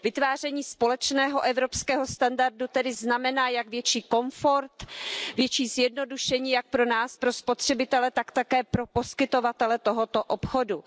Vytváření společného evropského standardu tedy znamená jak větší komfort, větší zjednodušení jak pro nás, pro spotřebitele, tak také pro poskytovatele tohoto obchodu.